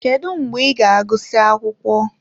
Kedu mgbe ị ga-agụsị akwụkwọ?